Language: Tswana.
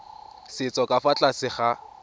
setso ka fa tlase ga